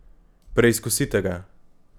Preizkusite ga!